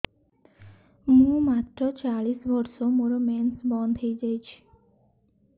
ମୁଁ ମାତ୍ର ଚାଳିଶ ବର୍ଷ ମୋର ମେନ୍ସ ବନ୍ଦ ହେଇଯାଇଛି